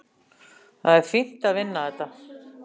Það er fínt að vinna þetta.